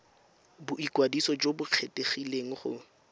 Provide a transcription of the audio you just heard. boikwadiso jo bo kgethegileng go